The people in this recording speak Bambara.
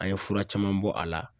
An ye fura caman bɔ a la